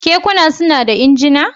Kekuna suna da injina?